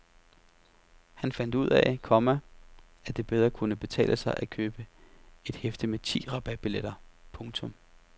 Han fandt ud af, komma at det bedre kunne betale sig at købe et hæfte med ti rabatbilletter. punktum